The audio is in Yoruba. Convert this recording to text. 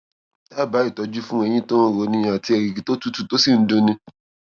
dábàá ìtọjú fún eyín tó ń roni àti erìgì tó tutù tó sì ń dun ni